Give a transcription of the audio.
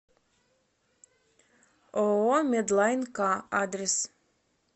ооо медлайн к адрес